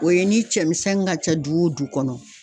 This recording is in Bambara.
O ye ni cɛmisɛnnin ka ca du wo du kɔnɔ